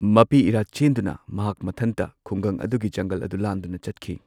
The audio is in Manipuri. ꯃꯄꯤ ꯏꯔꯥ ꯆꯦꯟꯗꯨꯅ, ꯃꯍꯥꯛ ꯃꯊꯟꯗ ꯈꯨꯡꯒꯪ ꯑꯗꯨꯒꯤ ꯖꯪꯒꯜ ꯑꯗꯨ ꯂꯥꯟꯗꯨꯅ ꯆꯠꯈꯤ꯫